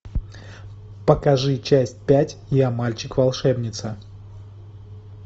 покажи часть пять я мальчик волшебница